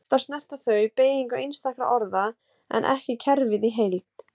Oftast snerta þau beygingu einstakra orða en ekki kerfið í heild.